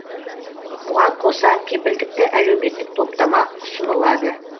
бұған қоса кепілдікті әлеуметтік топтама ұсынылады